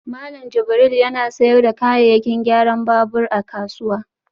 Malam Jibril yana sayar da kayayyakin gyaran babur a kasuwa